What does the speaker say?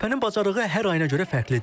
Körpənin bacarığı hər ayına görə fərqlidir.